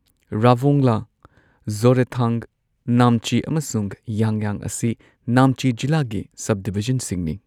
ꯔꯥꯚꯣꯡꯂꯥ, ꯖꯣꯔꯦꯊꯥꯡ, ꯅꯥꯝꯆꯤ, ꯑꯃꯁꯨꯡ ꯌꯥꯡꯌꯥꯡ ꯑꯁꯤ ꯅꯥꯝꯆꯤ ꯖꯤꯂꯥꯒꯤ ꯁꯕꯗꯤꯚꯤꯖꯟꯁꯤꯡꯅꯤ꯫